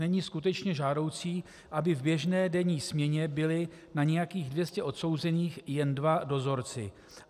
Není skutečně žádoucí, aby v běžné denní směně byli na nějakých 200 odsouzených jen dva dozorci.